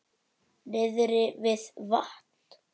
Niðri við vatn?